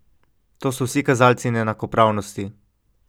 To so vsi kazalci neenakopravnosti.